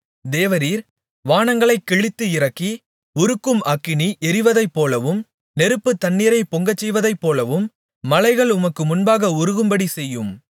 தேவரீர் வானங்களைக் கிழித்து இறங்கி உருக்கும் அக்கினி எரிவதைப்போலவும் நெருப்பு தண்ணீரைப் பொங்கச் செய்வதைப்போலவும் மலைகள் உமக்கு முன்பாக உருகும்படி செய்யும்